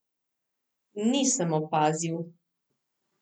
Nisem opazil.